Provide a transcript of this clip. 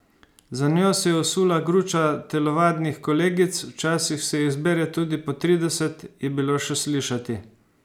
Za njo se je usula gruča telovadnih kolegic, včasih se jih zbere tudi po trideset, je bilo še slišati.